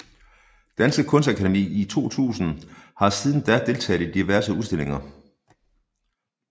Danske Kunstakademi i 2000 og har siden da deltaget i diverse udstillinger